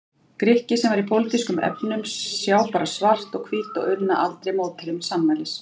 Grikki sem í pólitískum efnum sjá bara svart og hvítt og unna aldrei mótherjum sannmælis.